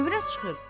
Övrət çıxır.